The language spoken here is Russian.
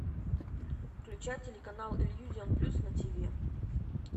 включай телеканал иллюзион плюс на ти ви